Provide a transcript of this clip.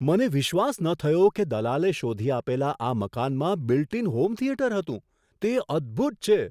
મને વિશ્વાસ ન થયો કે દલાલે શોધી આપેલા આ મકાનમાં બિલ્ટ ઇન હોમ થિયેટર હતું. તે અદ્ભુત છે!